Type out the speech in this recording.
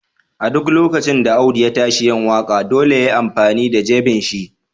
A duk lokacin da Audu ya tashi yin waka, dolle ya yi amfani da d'jeben shi.